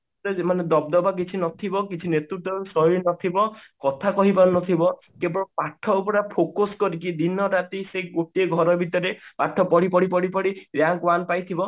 ମାନେ ଦବଦବା କିଛି ନଥିବ କିଛି କିଛି ନେତୃତ୍ଵ ଶୈଳୀ ନଥିବ କଥା କହି ପାରୁନଥିବ କେବଳ ପାଠକୁ ପୁରା focused କରିକି ଦିନ ରାତି ସେଇ ଗୋଟିଏ ଘର ଭିତରେ ପାଠ ପଢି ପଢି ପଢି ପଢି ଯାହା ପାଇଥିବ